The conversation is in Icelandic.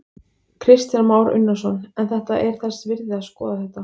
Kristján Már Unnarsson: En þetta er þess virði að skoða þetta?